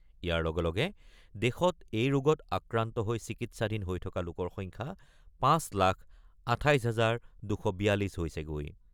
ইয়াৰ লগে লগে দেশত এই ৰোগত আক্ৰান্ত হৈ চিকিৎসাধীন হৈ থকা লোকৰ সংখ্যা ৫ লাখ ২৮ হাজাৰ ২৪২ হৈছেগৈ।